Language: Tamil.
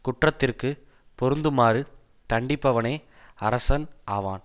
குற்றத்திற்குப் பொருந்துமாறு தண்டிப்பவனே அரசன் ஆவான்